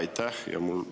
Aitäh!